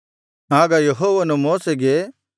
ಆಗ ಯೆಹೋವನು ಮೋಶೆಗೆ